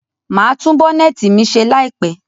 Màá tún Bonnet mi ṣe láìpẹ̀